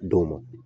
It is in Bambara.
Don mɔ